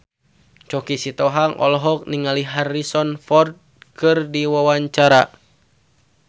Choky Sitohang olohok ningali Harrison Ford keur diwawancara